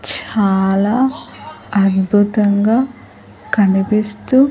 చాలా అద్భుతంగా కనిపిస్తూ.